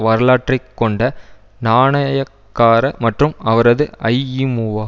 வரலாற்றை கொண்ட நாணயக்கார மற்றும் அவரது ஐஇமுஅ